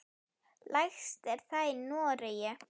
Lægst er það í Noregi.